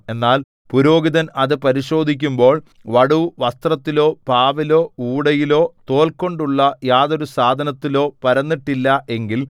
എന്നാൽ പുരോഹിതൻ അത് പരിശോധിക്കുമ്പോൾ വടു വസ്ത്രത്തിലോ പാവിലോ ഊടയിലോ തോൽകൊണ്ടുള്ള യാതൊരു സാധനത്തിലോ പരന്നിട്ടില്ല എങ്കിൽ